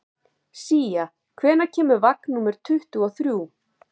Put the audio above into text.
Sía, hvenær kemur vagn númer tuttugu og þrjú?